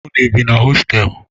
Unu bi na hostelu?